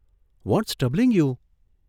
What's troubling you?